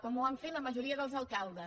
com ho van fer la majoria dels alcaldes